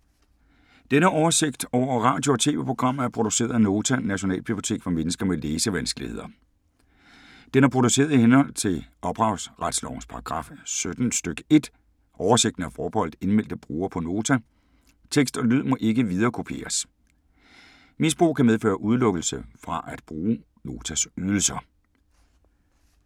Denne oversigt over radio og TV-programmer er produceret af Nota, Nationalbibliotek for mennesker med læsevanskeligheder. Den er produceret i henhold til ophavsretslovens paragraf 17 stk. 1. Oversigten er forbeholdt indmeldte brugere på Nota. Tekst og lyd må ikke viderekopieres. Misbrug kan medføre udelukkelse fra at bruge Notas ydelser.